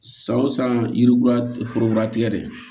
San o san yirikuran foro tigɛ de